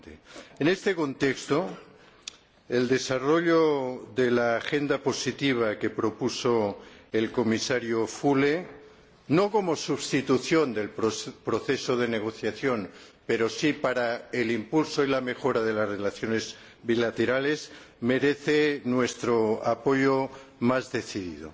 En este contexto, el desarrollo del programa positivo que propuso el Comisario Füle, no como sustitución del proceso de negociación pero sí para el impulso y la mejora de las relaciones bilaterales, merece nuestro apoyo más decidido.